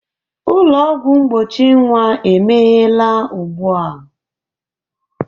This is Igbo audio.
Ụlọ ọgwụ mgbochi nwa emeghela ugbu a